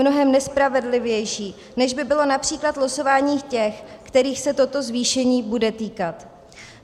Mnohem nespravedlivější, než by bylo například losování těch, kterých se toto zvýšení bude týkat.